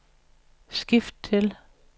skift til